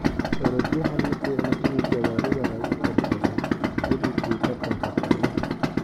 Orodhyahan maficno ini gawaridha lakuersadho xiliki taratanka soocdo.